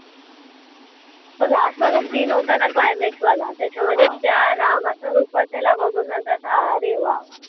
तो last वाला scene होता ना climax वाला त्याच्यामध्ये त्या रामाच्या रूपात त्याला बघून नंतर असं अरे वा वा